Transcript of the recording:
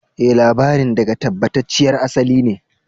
E, labarin daga tabbatacciyar asali ne.